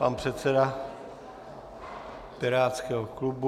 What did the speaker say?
Pan předseda pirátského klubu.